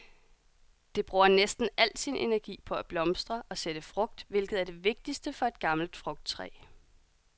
Det bruger næsten al sin energi på at blomstre og sætte frugt, hvilket er det vigtigste for et gammelt frugttræ.